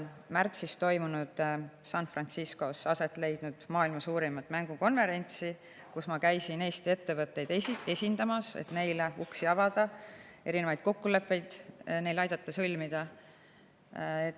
Märtsis San Franciscos aset leidnud maailma suurimal mängukonverentsil ma käisin Eesti ettevõtteid esindamas, et neile uksi avada, aidata neil erinevaid kokkuleppeid sõlmida.